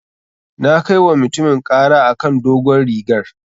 Na kai wa mutumin ƙara a kan dogon rigar.